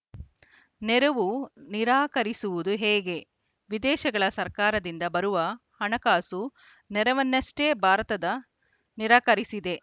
ನೆರವು ನಿರಾಕರಿಸುವುದು ಹೇಗೆ ವಿದೇಶಗಳ ಸರ್ಕಾರದಿಂದ ಬರುವ ಹಣಕಾಸು ನೆರವನ್ನಷ್ಟೇ ಭಾರತದ ನಿರಾಕರಿಸಿದೆ